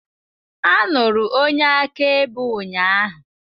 A nụrụ onye akaebe ụnyaahụ.